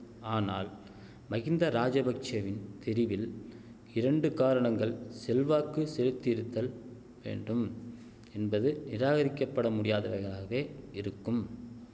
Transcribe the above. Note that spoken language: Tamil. ஆனால் மகிந்த ராஜபக்ஷெவின் தெரிவில் இரண்டு காரணங்கள் செல்வாக்கு செலுத்தியிருத்தல் வேண்டும் என்பது நிராகரிக்கப்பட முடியாதவைகளாகவே இருக்கும்